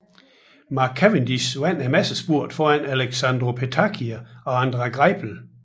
Mark Cavendish vandt massespurten foran Alessandro Petacchi og André Greipel